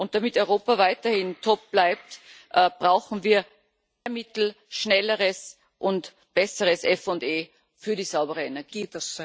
Damit Europa weiterhin top bleibt, brauchen wir mehr Mittel, schnellere und bessere FE für die saubere Energie.